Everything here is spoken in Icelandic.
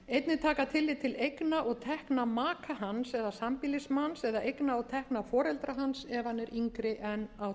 einnig taka tillit til eigna og tekna maka hans eða sambýlismanns eða eigna og tekna foreldra hans ef hann er yngri en